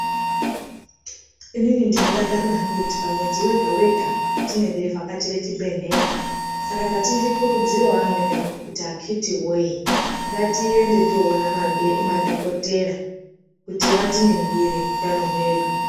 Inini ndinodakarira hangu kuti pamwedzi wega wega ndinge ndeivhakachire chibhedhlera saka ndati ndikurudzirewo amweni angu kuti akiti woye ngatiende toona madhokodheya kuti vatiningire utano hwedu.